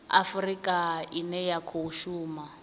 afurika ine ya khou shuma